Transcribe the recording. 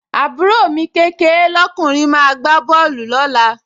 àbúrò mi kékeé lọ́kùnrin máa gbá bọ́ọ̀lù lọ́la